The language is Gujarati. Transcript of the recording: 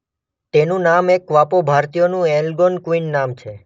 તેનું નામ એક કવાપો ભારતીયોનું એલગોનક્વિન નામ છે.